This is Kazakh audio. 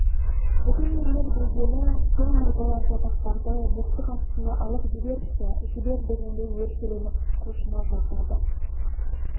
бүгін ерлер білгелі сол мырзалар жатақтарды боқтық астына алып жіберші жібер дегендей өршеленіп құлшына жортады